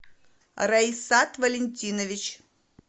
раисат валентинович